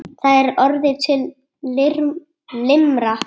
Það er orðin til limra!